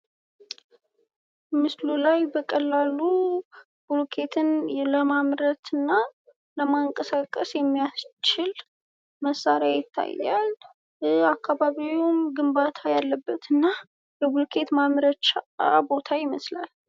ምስሉ ላይ በቀላሉ ቡለክትን ለማምረትና ለማንቀሳቀስ የሚያስችል መሳሪያ ይታያል የአካባቢውን ግንባታ ያለበትና የብሉክት ማምረቻ ቦታ ይመስላል።